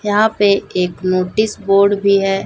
यहां पे एक नोटिस बोर्ड भी है।